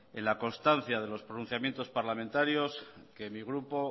en la constancia de los pronunciamientos parlamentarios que mi grupo